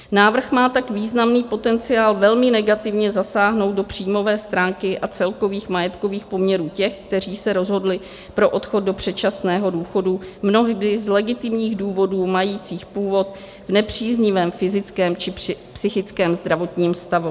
Návrh má tak významný potenciál velmi negativně zasáhnout do příjmové stránky a celkových majetkových poměrů těch, kteří se rozhodli pro odchod do předčasného důchodu mnohdy z legitimních důvodů majících původ v nepříznivém fyzickém či psychickém zdravotním stavu.